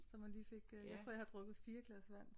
Så man lige fik øh jeg tror jeg har drukket 4 glas vand